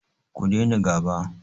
Ku daina gaba!